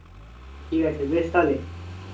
ঠিক আছে বেশ তাহলে।